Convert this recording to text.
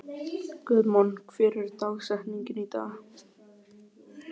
Guðmon, hver er dagsetningin í dag?